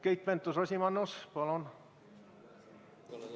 Keit Pentus-Rosimannus, palun!